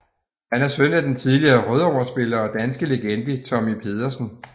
Han er søn af den tidligere Rødovre spiller og danske legende Tommy Pedersen